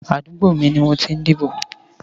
Àdúgbó mi ni mó tí n dibó